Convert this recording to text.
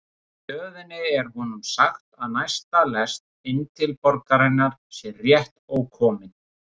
Á stöðinni er honum sagt að næsta lest inn til borgarinnar sé rétt ókomin.